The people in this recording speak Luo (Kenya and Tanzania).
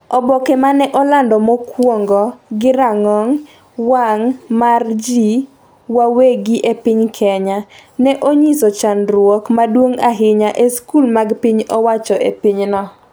Oboke ma ne olandi mokwongo gi rang'ong wang' mar ji wawegi e piny Kenya, ne onyiso chandruok maduong’ ahinya e skul mag piny owacho e pinyno.